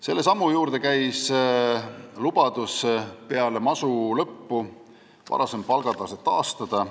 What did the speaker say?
Selle sammu juurde käis lubadus peale masu lõppu varasem palgatase taastada.